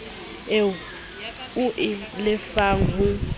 eo o e lefang ho